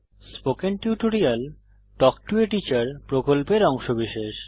spoken tutorial talk to a teacher প্রকল্পের অংশবিশেষ